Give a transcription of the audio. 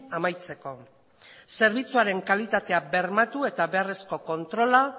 amaitzeko zerbitzuaren kalitatea bermatu eta beharrezko kontrola